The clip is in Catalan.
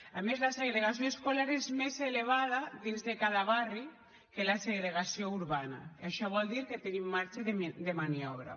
a més la segregació escolar és més elevada dins de cada barri que la segregació urbana això vol dir que tenim marge de maniobra